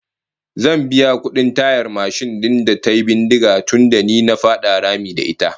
Zan biya kudin tayar mashin din da tayi bindiga tunda ni na fada rami da ita